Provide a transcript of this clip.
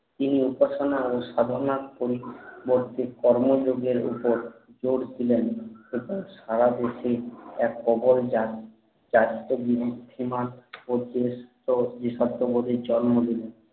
তিনি উপাসনা করে আর সাধনা বড্ডো কর্ম যোগের উপর লড়ছিলেন এরপর সারা দেশ এ এক প্রবল জাতক ঋদ্ধিমান ও দেশাত্ব বোধের জন্ম দিলেন